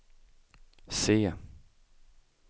C